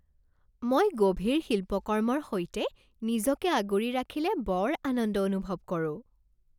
মই গভীৰ শিল্পকৰ্মৰ সৈতে নিজকে আগুৰি ৰাখিলে বৰ আনন্দ অনুভৱ কৰোঁ।